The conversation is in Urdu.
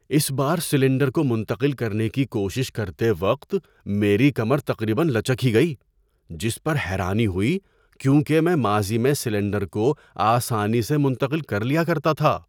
اس بار سلنڈر کو منتقل کرنے کی کوشش کرتے وقت میری کمر تقریبا لچک ہی گئی، جس پر حیرانی ہوئی کیونکہ میں ماضی میں سلنڈر کو آسانی سے منتقل کر لیا کرتا تھا۔